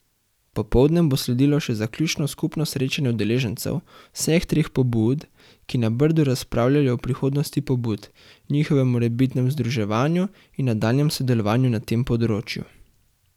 Popoldne bo sledilo še zaključno skupno srečanje udeležencev vseh treh pobud, ki na Brdu razpravljajo o prihodnosti pobud, njihovem morebitnem združevanju in nadaljnjem sodelovanju na tem področju.